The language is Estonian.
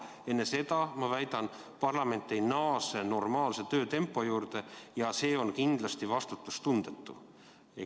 Enne seda, ma väidan, parlament ei naase normaalse töötempo juurde, ja see on vastutustundetu.